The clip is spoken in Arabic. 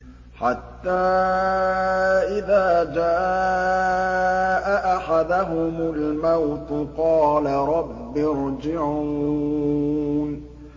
حَتَّىٰ إِذَا جَاءَ أَحَدَهُمُ الْمَوْتُ قَالَ رَبِّ ارْجِعُونِ